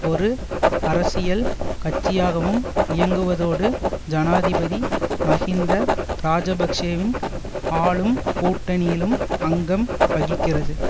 ஒரு அரசியல் கட்சியாகவும் இயங்குவதோடு ஜனாதிபதி மஹிந்த இராஜபக்ஷவின் ஆளும் கூட்டணியிலும் அங்கம் வகிக்கிறது